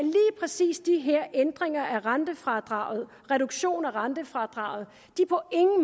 præcis de her ændringer af rentefradraget reduktionen af rentefradraget